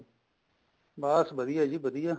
ਬੱਸ ਵਧੀਆ ਜੀ ਵਧੀਆ